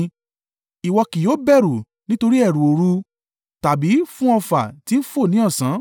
Ìwọ kì yóò bẹ̀rù nítorí ẹ̀rù òru, tàbí fún ọfà tí ń fò ní ọ̀sán,